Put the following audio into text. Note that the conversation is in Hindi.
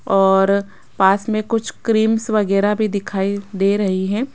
और पास में कुछ क्रीमंस वगैरह भी दिखाई दे रही हैं।